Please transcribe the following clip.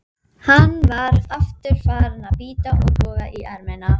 Mér var sagt frá ölkeldu við Búðir.